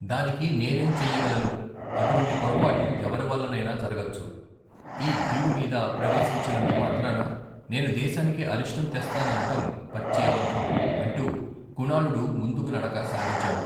దానికి నేనేం చెయ్యగలను? అటువంటి పొరపాటు ఎవరివల్లనైనా జరగచ్చు. ఈ భీడుమీద ప్రవేశించినంత మాత్రాన నేను దేశానికి అరిష్టం తెస్తాననటం పచ్చి అబద్ధం! అంటూ కుణాళుడు ముందుకు నడక సాగించాడు.